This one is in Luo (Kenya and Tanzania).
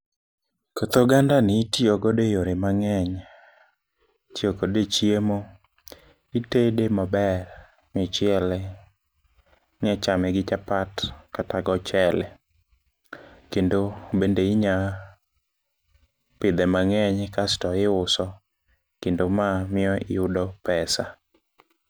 Koth ogandani itiyogodo e yore mang'eny. Itiyo kode e chiemo, itede maber michiele. Inyachame gi chapat kata gochele, kendo bende inyapidhe mang'eny kasto iuso, kendo mamiyo iyudo pesa.